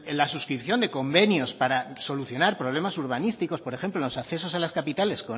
la suscripción de convenios para solucionar problemas urbanísticos por ejemplo los accesos a las capitales